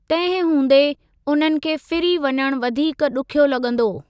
तंहिं हूंदे उन्हनि खे फिरी वञणु वधीक ॾुखियो लॻंदो।